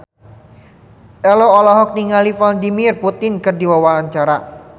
Ello olohok ningali Vladimir Putin keur diwawancara